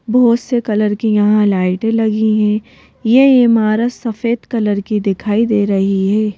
बहोत से कलर की यहां लाइटें लगी हैं ये ईमारत सफेद कलर की दिखाई दे रही है।